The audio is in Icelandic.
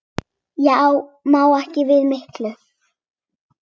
Ég má ekki við miklu.